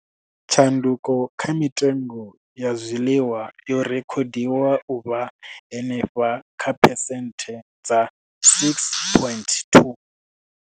Tshanduko kha mitengo ya zwiḽiwa yo rekhodiwa u vha henefha kha phesenthe dza 6.2.